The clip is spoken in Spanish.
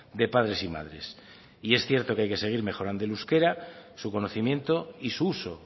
de padres y madres y es cierto que hay que seguir mejorando el euskera su conocimiento y su uso